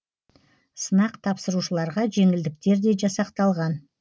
сынақ тапсырушыларға жеңілдіктер де жасақталған